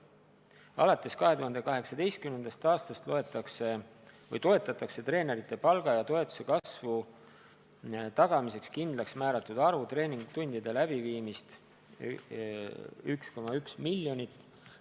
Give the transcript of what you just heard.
Alates 2018. aastast toetatakse treenerite palga ja toetuse kasvu tagamiseks kindlaksmääratud arvu treeningtundide läbiviimist 1,1 miljoniga.